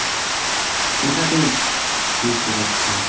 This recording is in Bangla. ওটা তো বুঝতে পারছি।